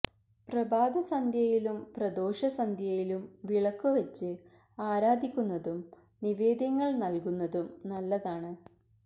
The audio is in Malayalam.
പ്രഭാതസന്ധ്യയിലും പ്രദോഷ സന്ധ്യയിലും വിളക്കു വച്ച് ആരാധിക്കുന്നതും നിവേദ്യങ്ങള് നല്കുന്നതും നല്ലതാണ്